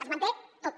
es manté tot